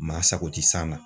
Maa sago tɛ san na.